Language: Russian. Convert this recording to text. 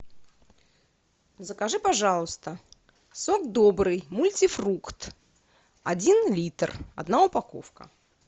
закажи пожалуйста сок добрый мультифрукт один литр одна упаковка